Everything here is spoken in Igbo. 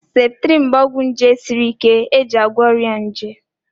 septrin bụ ọgwụ nje siri ike eji agwọ ọrịa nje